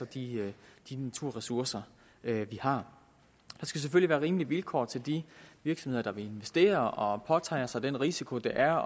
de naturressourcer vi har der skal selvfølgelig være rimelige vilkår til de virksomheder der vil investere og påtager sig den risiko det er